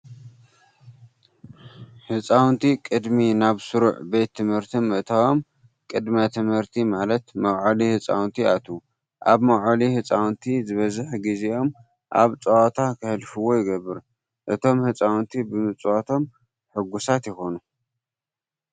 ህፃውንቲ ቅድሚ ናብ ስሩዕ ቤት ትምህርቲ ምእታዎም ቅድመ ትምህርቲ ማለት መውዓሊ ህፃውንቲ ይኣትዉ። ኣብ መውዓሊ ህፃውንቲ ዝበዝሕ ግዚኦም ኣብ ፃውቲ ክህልፍዎ ይግበር። እቶም ህፃውንቲ ብምፅዋቶም ሕጉሳት ይኾኑ።